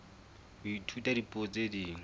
ho ithuta dipuo tse ding